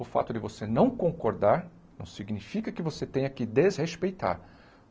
O fato de você não concordar não significa que você tenha que desrespeitar.